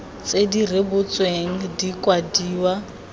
tse di rebotsweng di kwadiwa